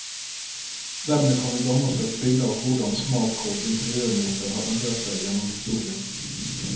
Dermed kan vi danne oss et bilde av hvordan smak og interørmoter har endret seg gjennom historien.